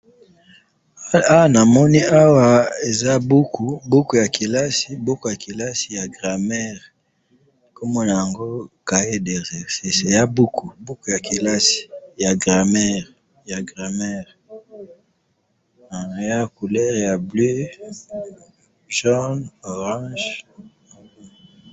Awa namoni awa ,eza buku ,buku ya kelasi ,buku ya kelasi ya grammaire, kombo na yango cahier d'exercices ,eza buku, buku ya kelasi ,ya grammaire ,ya grammaire eza couleur ya ,bleu ,jaune, orange